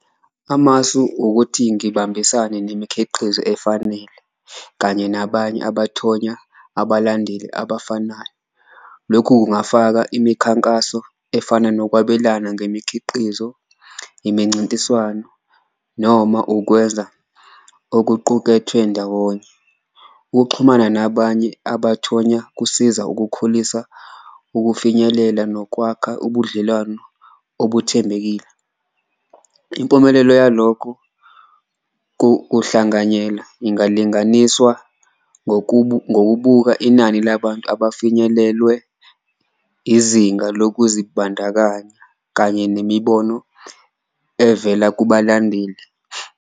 Amasu ukuthi ngibambisane nemikhiqizo efanele kanye nabanye abathonya abalandeli abafanayo, lokhu kungafaka imikhankaso efana nokwabelana ngemikhiqizo, imincintiswano noma ukwenza okuqukethwe ndawonye. Ukuxhumana nabanye abathonya kusiza ukukhulisa ukufinyelela nokwakha ubudlelwano okuthembekile, impumelelo yalokho kuhlanganyela ingalinganiswa ngokubuka inani labantu abafinyelelwe izinga lokuzibandakanya. Kanye nemibono evela kubalandeli.